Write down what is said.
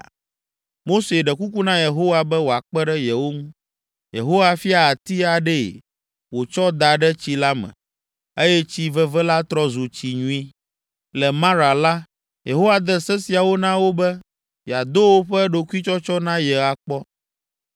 Mose ɖe kuku na Yehowa be wòakpe ɖe yewo ŋu. Yehowa fia ati aɖee wòtsɔ da ɖe tsi la me, eye tsi veve la trɔ zu tsi nyui. Le Mara la, Yehowa de se siawo na wo be yeado woƒe ɖokuitsɔtsɔ na ye akpɔ.